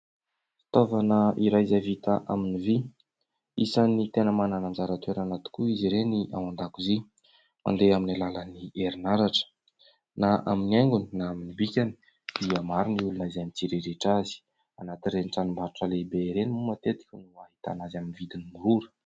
Fitaovana iray izay vita amin'ny vy. Isany tena manana ny anjara toerana tokoa izy ireny ao an-dakozia. Mandeha amin'ny alalan'ny herinaratra na amin'ny haingony na amin'ny bikany dia maro ny olona izay mitsiriritra azy. Anaty ireny tranombarotra lehibe ireny moa matetika no ahitana azy amin'ny vidin'ny mora.